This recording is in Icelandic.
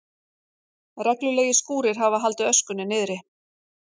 Reglulegir skúrir hafi haldið öskunni niðri